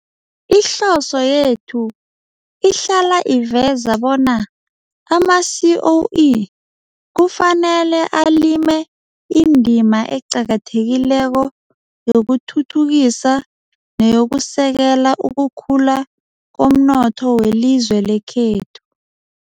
Ihloso yethu ihlala iveza bona ama-SOE kufanele alime indima eqakathekileko yokuthuthukisa neyokusekela ukukhula komnotho welizwe lekhethu.